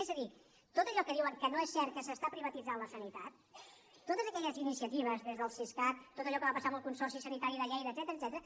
és a dir tot allò que diuen que no és cert que s’està privatitzant la sanitat totes aquelles iniciatives des del siscat tot allò que va passar amb el consorci sanitari de lleida etcètera